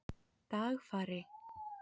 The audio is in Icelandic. Dagfari